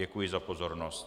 Děkuji za pozornost.